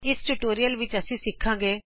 ਇਸ ਟਿਯੂਟੋਰਿਅਲ ਵਿੱਚਅਸੀ ਸਿਖਾਗੇ